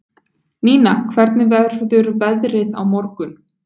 Nína, hvernig verður veðrið á morgun?